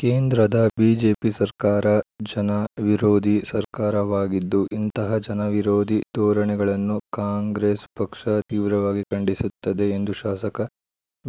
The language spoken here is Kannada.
ಕೇಂದ್ರದ ಬಿಜೆಪಿ ಸರ್ಕಾರ ಜನ ವಿರೋಧಿ ಸರ್ಕಾರವಾಗಿದ್ದು ಇಂತಹ ಜನವಿರೋಧಿ ಧೋರಣೆಗಳನ್ನು ಕಾಂಗ್ರೆಸ್‌ ಪಕ್ಷ ತೀವ್ರವಾಗಿ ಖಂಡಿಸುತ್ತದೆ ಎಂದು ಶಾಸಕ